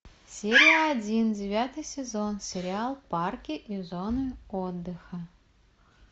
серия один девятый сезон сериал парки и зоны отдыха